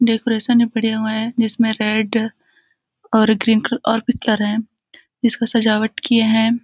Decoration भी बड़े हुए हैं जिसमें रेड और ग्रीन कलर और भी कलर है इसका सजावट किए हैं ।